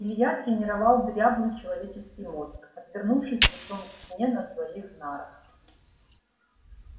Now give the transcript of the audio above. илья тренировал дряблый человеческий мозг отвернувшись лицом к стене на своих нарах